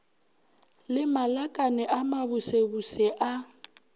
le malakane a mabusebuse a